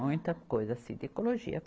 Muita coisa assim de ecologia.